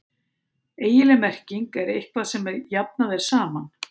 eiginleg merking er „eitthvað sem jafnað er saman“